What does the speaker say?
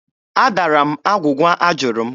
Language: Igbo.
Adara m agwụgwa a jụrụ m.